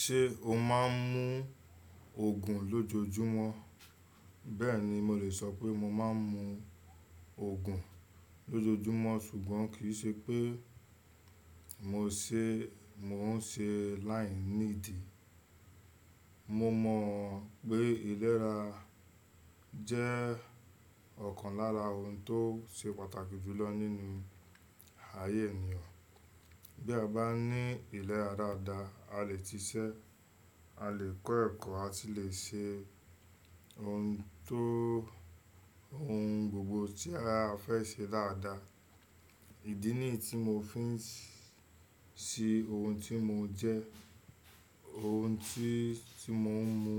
Ṣé o máa ń mú Ògùn lójoojúmọ́? Bẹ́ẹ̀ni, mo lè sọ pé mo máa ń mú Òogùn lójoojúmọ́ ṣùgbọ́n kì í ṣe pé mò ń ṣe láìní ìdí. Mo mọ̀ pé ilérà jẹ́ ọ̀kan lára ohun tó ṣe pàtàkì jù lọ nínú ayé ènìyàn. Bí a bá ní ilérà dáadáa, a lè ti ṣiṣẹ́, a lè kọ́ ẹ̀kọ́, a sì lè ṣe ohun tó ohun gbogbo tí ara fẹ́ ṣe dáadáa. Ìdí nìyí tí mò ń fi ń ṣe ohun tí mò ń jẹ, ohun tí mò ń mú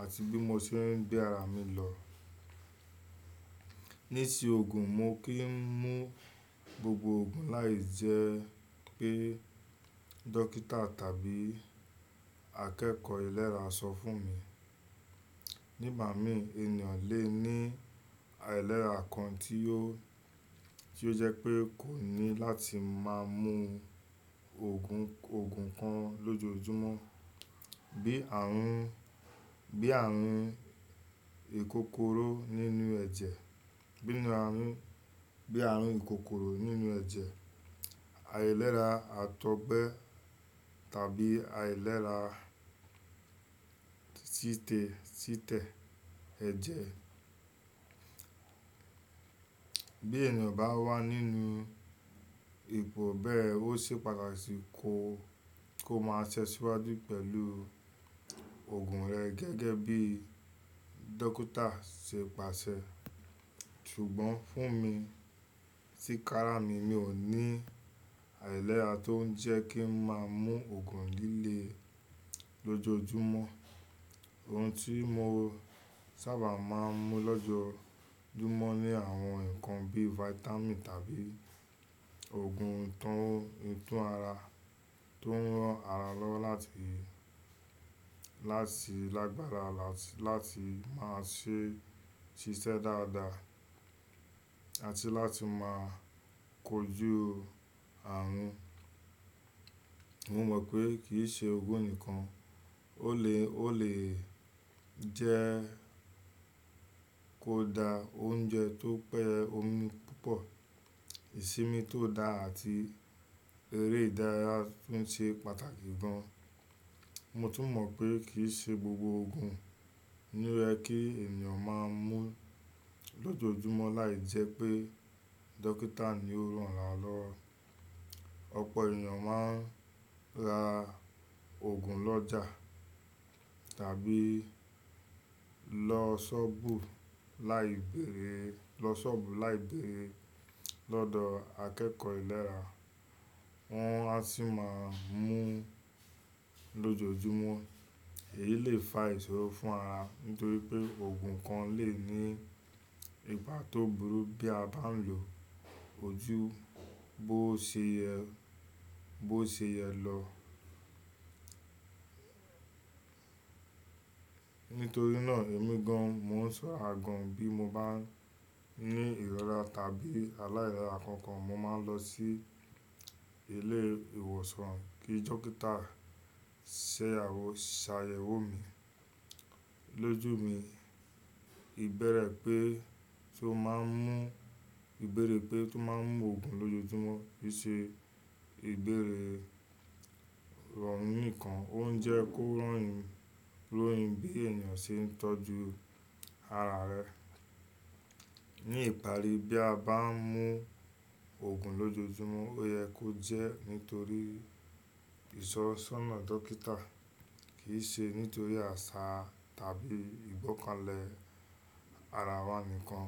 àti bí mo ṣe ń gbé ara mi lọ. Ní te Ògùn, mo kì í mú gbogbo Ògùn láì jẹ́ pé dókítà tàbí akẹ́kọ̀ọ́ ilérà sọ fún mi. Nígbà mí ènìyàn lè ní ailérà kan tí ó jẹ́ pé kò ní láti máa mú Ògùn kan lójoojúmọ́. Bíi ààrùn ìkòkòró nínú ẹ̀jẹ̀, àìlérà àtọ̀gbẹ tàbí àìlérà títẹ̀ ẹ̀jẹ̀. Bí ènìyàn bá wà nínú ipò bẹ́ẹ̀, ó ṣe pàtàkì kó máa tẹ́ síwájú pẹ̀lú ògùn rẹ̀ gẹ́gẹ́ bí dókítà ṣe pàṣẹ. Ṣùgbọ́n fún mi tikára mi, mi ò ní àìlérà tó ń jẹ́ kí ń máa mú Ògùn líle lójoojúmọ́. Ohun tí mo sábà máa ń mú lójoojúmọ́ ni àwọn ǹkan bí vitamin tàbí Ògùn tó ń ran ara lọ́wọ́ láti lágbára àti láti máa ṣe ṣiṣẹ́ dáadáa àti láti máa kojú ààrùn. Mo mọ̀ pé kì í ṣe owo nìkan, ó lè jẹ́ kó dá oúnjẹ tó pẹ́ omi púpọ̀, ìsimi tó dá àti eré ìdárayá tún ṣe pàtàkì gan. Mo tún mọ̀ pé kì í ṣe gbogbo Ògùn ni rẹ kí ènìyàn máa ń mú lójoojúmọ́ láì jẹ́ pé dókítà ni ó rán lọ. Ọ̀pọ̀ ènìyàn máa ń ra Ògùn lọ́jà tàbí lọ ṣọ́ọ̀bù láìbéèrè lọ́dọ̀ akẹ́kọ̀ọ́ ilérà wọ́n á sì máa ń mú lójoojúmọ́. Èyí lè fa ìṣòro fún ara nítorí pé Ògùn kan lè ní ipa tó burú bí a bá ń lò ojú bó ṣe yẹ lọ. Nítorí náà èmi gan an, mò ń sọ agàn bí mo bá ní ìrọ́ra tàbí aláìrọ́ra kankan, mo máa ń lọ sí ilé ìwòsàn kí dókítà ṣàyẹ̀wò mi. Lójú mi, ìbẹ̀rẹ̀ pé tó máa ń mú Ògùn lójoojúmọ́ kì í ṣe ìbéèrè rọrùn nìkan, ó ń jẹ́ kó rọ̀yìn bí ènìyàn ṣe ń tọ́jú ara rẹ̀. Ni ìparí bí a bá ń mú Ògùn lójoojúmọ́, ó yẹ kó jẹ́ nítorí ìṣọ́sọ́nà dókítà kì í ṣe nítorí àṣà tàbí ìgbọ́kànlé ara wa nìkan.